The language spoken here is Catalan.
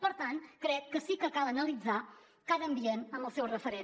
per tant crec que sí que cal analitzar cada ambient amb el seu referent